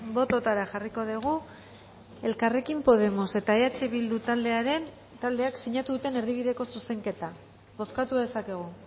botoetara jarriko dugu elkarrekin podemos eta eh bildu taldeak sinatu duten erdibideko zuzenketa bozkatu dezakegu